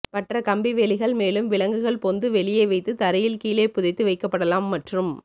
பற்ற கம்பி வேலிகள் மேலும் விலங்குகள் பொந்து வெளியே வைத்து தரையில் கீழே புதைத்து வைக்கப்படலாம் மற்றும்